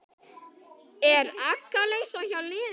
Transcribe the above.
Er agaleysi hjá liðinu?